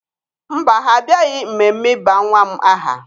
Mba, ha abịaghị mmemme ịba nwa m aha